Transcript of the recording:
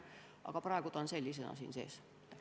Aga praegu on ta eelnõus sees sellisena.